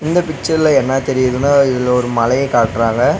இந்த பிச்சர்ல என்னா தெரியுதுனா இதுல ஒரு மலைய காட்றாங்க.